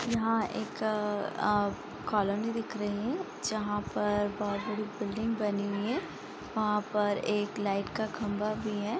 यहाँ एक अअअ कॉलोनी दिख रही है जहाँ पर बहुत बड़ी बिल्डिंग बनी हुई है वहाँ पर एक लाइट का खंबा भी है।